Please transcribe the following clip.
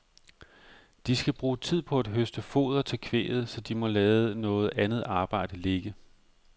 De skal bruge tid på at høste foder til kvæget, så de må lade noget andet arbejde ligge.